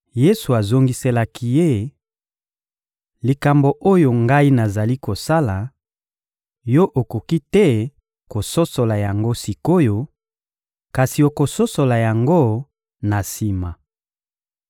Yesu azongiselaki ye: — Likambo oyo Ngai nazali kosala, yo okoki te kososola yango sik’oyo; kasi okososola yango na sima.